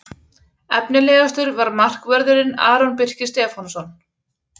Efnilegastur var markvörðurinn Aron Birkir Stefánsson.